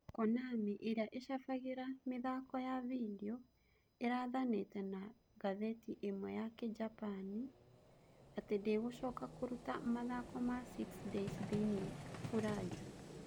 Konami, ĩrĩa ĩcabagĩra mĩthako ya video, ĩrathanĩte na ngathĩti ĩmwe ya kĩjapani atĩ ndĩgũcoka kũruta mathako ma Six Days thĩinĩ Fallujah.